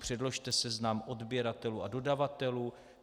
Předložte seznam odběratelů a dodavatelů.